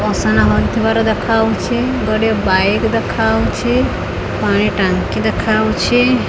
ଅସନା ହୋଇଥିବାର ଦେଖାହଉଛି ଗୋଟିଏ ବାଇକ୍ ଦେଖାହଉଛି ପାଣି ଟାଙ୍କି ଦେଖାହଉଛି।